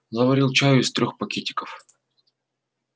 заварил чаю из трёх пакетиков